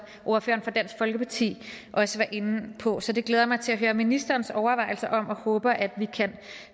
ordføreren for dansk folkeparti også var inde på så det glæder jeg mig til at høre ministerens overvejelse om og jeg håber at vi kan